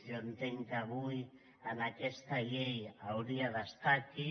jo entenc que avui amb aquesta llei hauria d’estar aquí